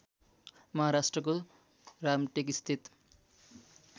महाराष्ट्रको रामटेक स्थित